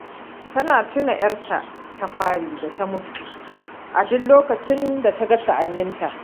Tana tuna 'yarta ta fari da mutu a duk lokacin ta ga sa'anninita